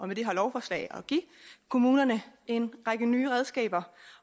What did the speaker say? med det her lovforslag at give kommunerne en række nye redskaber